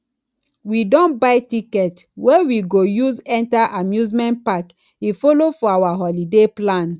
we don buy ticket wey we go use enter amusement park e follow for our holiday plan